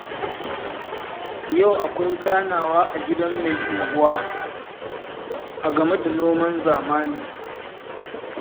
Yau akwai ganawa a gidan mai unguwa, a game da noman zamani